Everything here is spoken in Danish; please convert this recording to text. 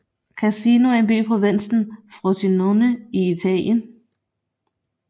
Cassino er en by i provinsen Frosinone i Italien